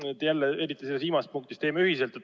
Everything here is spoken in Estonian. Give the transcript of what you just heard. Eriti viimasest punktist käis läbi, et teeme ühiselt.